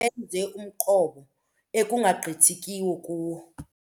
Benze umqobo ekungagqithekiyo kuwo.